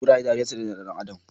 Kuraye ɗariyan su ɗaya da ɗan adam